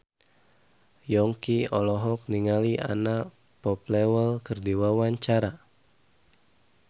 Yongki olohok ningali Anna Popplewell keur diwawancara